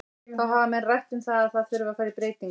Þá hafa menn rætt um að það þurfi að fara í breytingar.